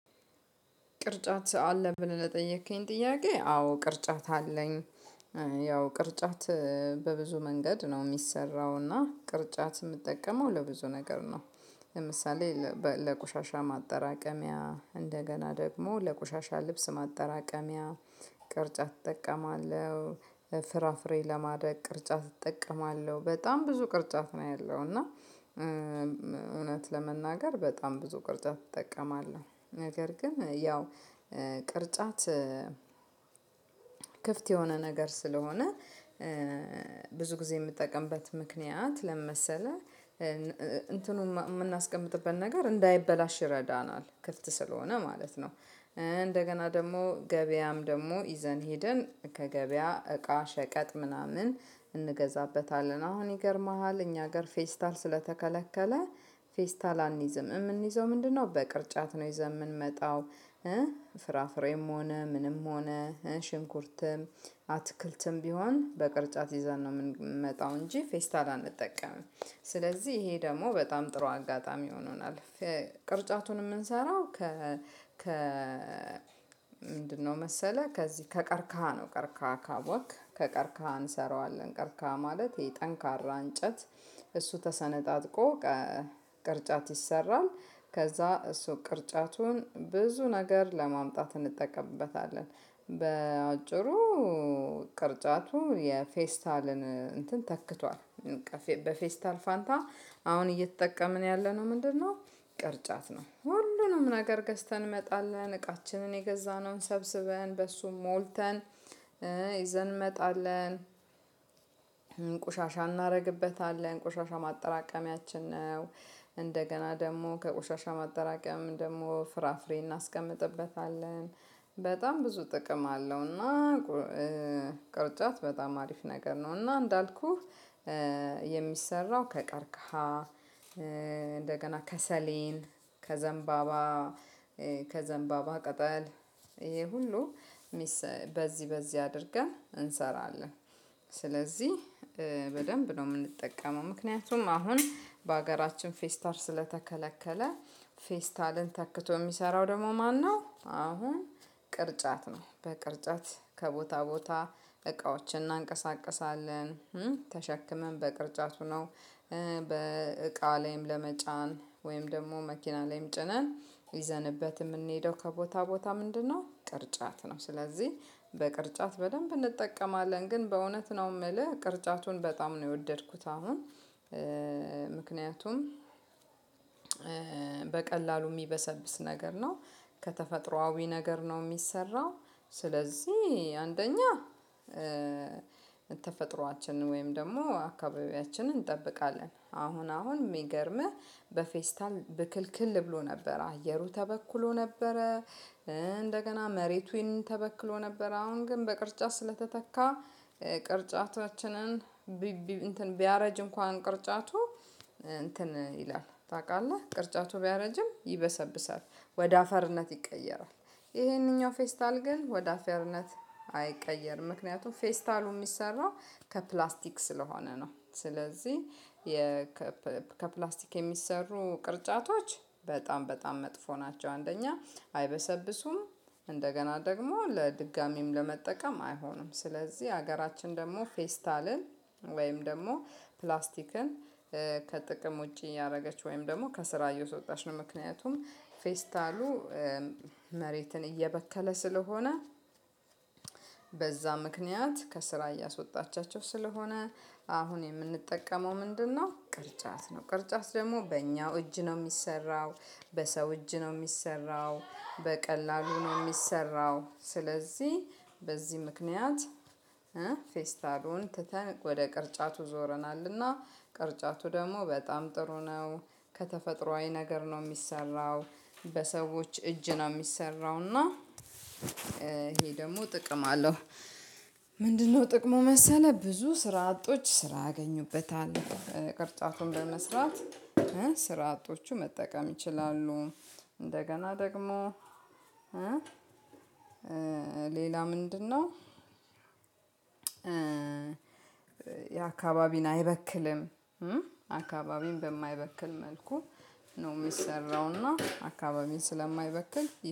ቅርጫት አለህ ብለን ለጠየከኝ ጥያቄ አዎ ቅርጫት አለኝ ያው ቅርጫት በብዙ መንገድ ነው የሚሰራውና ቅርጫት የምትጠቀመው ለብዙ ነገር ነው። ለምሳሌ ለቆሻሻ ማጠራቀሚያ እንደገና ደግሞ ለቆሻሻ ልብስ ማጠራቀሚያ ቅርጫት እጠቀማለሁ። ፍራፍሬ ለማድረግ ቅርጫት እጠቀማለሁ በጣም ብዙ ቅርጫት ነው ያለው እና። እውነት ለመናገር በጣም ብዙ ቅርጫት እጠቀማለሁ ነገር ግን ያው ቅርጫት ክፍት የሆነ ነገር ስለሆነ ብዙ ጊዜ የምትጠቀምበት ምክንያት ለምን መሰለህ እንትኑን የምናስቀምጥበት ነገር እንዳይበላሽ ይረዳናል ክፍት ስለሆነ ማለት ነው። እንደገና ደግሞ ገበያም ደግሞ ይዘን ሄደን ከገበያ እቃ ሸቀጥ ምናምን እንገዛበታለን። አሁን ይገርምሃል እኛ ጋር ፌስታል ስለተከለከለ ፌስታል አንይዝም እምንይዘው ምንድን ነው በቅርጫት ነው። ይዘን ምንመጣው እ ፍራፍሬም ሆነ ምንም ሆነ እ ሽንኩርትም አትክልትም ቢሆን በቅርጫት ይዘን ምንመጣው እንጂ ፌስታል አንጠቀምም። ስለዚህ ይሄ ደግሞ በጣም ጥሩ አጋጣሚ ሆኖናል። ቅርጫቱን የምንሰራው ከ ምንድነው መሰለህ ከዚህ ከቀርካሃ ነው። ቀርካሃ ካወክ ከቀርካሃ እንሰራዋለን። ቀርካሃ ማለት የጠንካራ እንጨት እሱ ተሰነጣጥቆ ቅርጫት ይሰራል። ከዛ እሱ ቅርጫቱን ብዙ ነገር ለማምጣት እንጠቀምበታለን። በአጭሩ ቅርጫቱ የፌስታልን እንትን ተክቷል። በፌስታል ፋንታ አሁን እየተጠቀምን ያለነው ምንድነው? ቅርጫት ነው ሁሉንም ነገር ገዝተን እንመጣለን እቃችንን የገዛነውን ሰብስበን በሱም ሞልተን ይዘን እንመጣለን። ቁሻሻ እናደርግበታለን ቁሻሻ ማጠራቀሚያችን ነው። እንደገና ደግሞ ከቆሻሻ ማጠራቀም ደግሞ ፍራፍሬ እናስቀምጥበታለን። በጣም ብዙ ጥቅም አለውና ቅርጫት በጣም አሪፍ ነገር ነውና። እንዳልኩህ የሚሰራው ከቀርካሃ እንደገና ከሰሌን ከዘንባባ ከዘንባባ ቀጠል ይሄ ሁሉ በዚህ በዚህ አድርገን እንሰራለን። ስለዚህ በደንብ ነው የምንጠቀመው። ምክንያቱም አሁን በሀገራችን ፌስታል ስለተከለከለ ፌስታልን ተክቶ የሚሰራው ደግሞ ማነው? አሁን ቅርጫት ነው። በቅርጫት ከቦታ ቦታ እቃዎችን እናንቀሳቅሳለን ተሸክመን በቅርጫቱ ነው። በእቃ ላይም ለመጫን ወይም ደግሞ መኪና ላይም ጭነን ይዘንበት የምንሄደው ከቦታ ቦታ ምንድነው? ቅርጫት ነው። ስለዚህ በቅርጫት በደንብ እንጠቀማለን ግን በእውነት ነው የምልህ ቅርጫቱን በጣም ነው የወደድኩት። አሁን ምክንያቱም በቀላሉ የሚበሰብስ ነገር ነው። ከተፈጥሮአዊ ነገር ነው የሚሰራው። ስለዚህ አንደኛ ተፈጥሮአችንን ወይም ደግሞ አካባቢያችንን እንጠብቃለን። አሁን አሁን የሚገርምህ በፌስታል ብክልክል ብሎ ነበር አየሩ ተበኩሎ ነበረ። እንደገና መሬቱን ተበክሎ ነበር። አሁን ግን በቅርጫት ስለተተካ ቅርጫታችንን ቢያረጅ እንኳን ቅርጫቱ እንትን ይላል ታውቃለህ ቅርጫቱ ቢያረጅም ይበሰብሰብ ወደ አፈርነት ይቀየራል። ይሄንኛው ፌስታል ግን ወደ አፌርነት አይቀየርም። ምክንያቱም ፌስታሉ የሚሰራው ከፕላስቲክ ስለሆነ ነው። ስለዚህ ከፕላስቲክ የሚሰሩ ቅርጫቶች በጣም በጣም መጥፎ ናቸው። አንደኛ አይበሰብስም። እንደገና ደግሞ ለድጋሚም ለመጠቀም አይሆንም። ስለዚህ ሀገራችን ደግሞ ፌስታልን ወይም ደግሞ ፕላስቲክን ከጥቅም ውጪ እያደረገች ወይም ደግሞ ከስራ እያስወጣች ነው። ምክንያቱም ፌስታሉ መሬትን እየበከለ ስለሆነ በዛ ምክንያት ከስራ እያስወጣቻቸው ስለሆነ አሁን የምንጠቀመው ምንድነው ቅርጫት ነው። ቅርጫት ደግሞ በእኛው እጅ ነው የሚሰራው። በሰው እጅ ነው የሚሰራው በቀላሉ ነው የሚሰራው። ስለዚህ በዚህ ምክንያት ፌስታሉን ትተን ወደ ቅርጫቱ ዞረናልና ቅርጫቱ ደግሞ በጣም ጥሩ ነው። ከተፈጥሮአዊ ነገር ነው የሚሰራው። በሰዎች እጅ ነው የሚሰራው እና ይሄ ደግሞ ጥቅም አለው። ምንድነው ጥቅሙ መሰለህ? ብዙ ስራ አጦች ስራ ያአገኙበታል። ቅርጫቱን በመስራት ስራ አጦቹ መጠቀም ይችላሉ። እንደገና ደግሞ ሌላ ምንድነው? የአካባቢን አይበክልም። አካባቢን በማይበክል መልኩ ነው የሚሰራውና አካባቢን ስለማይበክል።